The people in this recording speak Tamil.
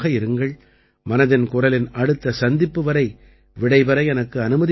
மனதின் குரலின் அடுத்த சந்திப்பு வரை விடைபெற எனக்கு அனுமதி அளியுங்கள்